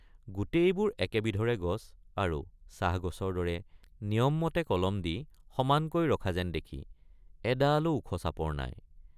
গোটেইবোৰ একেবিধৰে গছ আৰু চাহগছৰ দৰে নিয়মমতে কলম দি সমানকৈ ৰখা যেন দেখি এডালো ওখচাপৰ নাই।